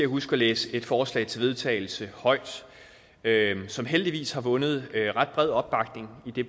huske at læse et forslag til vedtagelse højt som heldigvis har vundet ret bred opbakning idet